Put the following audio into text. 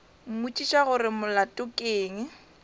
mmotšiša gore molato ke eng